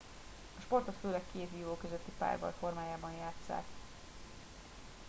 a sportot főleg két vívó közötti párbaj formájában játsszák